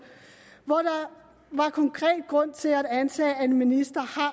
hvor der var konkret grund til at antage at en minister